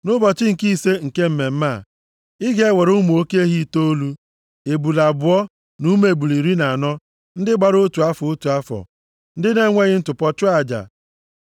“ ‘Nʼụbọchị nke ise nke mmemme a, ị ga-ewere ụmụ oke ehi itoolu, ebule abụọ na ụmụ ebule iri na anọ ndị gbara otu afọ, otu afọ, ndị na-enweghị ntụpọ chụọ aja.